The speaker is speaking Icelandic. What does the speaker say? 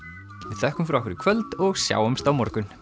við þökkum fyrir okkur í kvöld og sjáumst á morgun